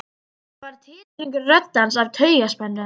Það var titringur í rödd hans af taugaspennu.